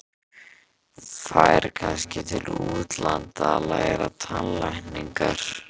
Færi kannski til útlanda að læra tannlækningar.